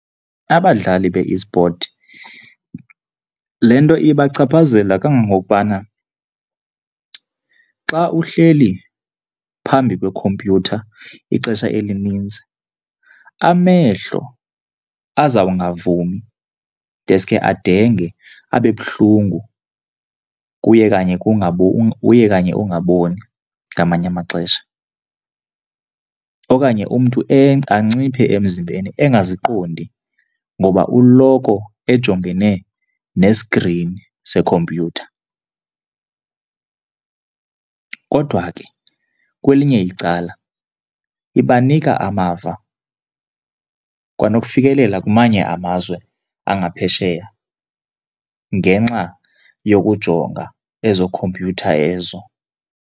Abadlali be-esport, le nto ibachaphazela kangangokubana xa uhleli phambi kwekhompyutha ixesha elininzi, amehlo azawungavumi deske adenge abe buhlungu kuye kanye kuye kanye ungaboni ngamanye amaxesha. Okanye umntu anciphe emzimbeni engaziqondi ngoba uloko ejongene neskrini sekhompyutha. Kodwa ke kwelinye icala ibanika amava kwanokufikelela kumanye amazwe angaphesheya ngenxa yokujonga ezookhompyutha ezo.